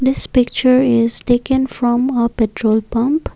this picture is taken from a petrol pump.